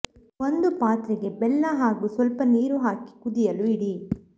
ಒಂದು ಪಾತ್ರೆಗೆ ಬೆಲ್ಲ ಹಾಗೂ ಸ್ವಲ್ಪ ನೀರು ಹಾಕಿ ಕುದಿಯಲು ಇಡಿ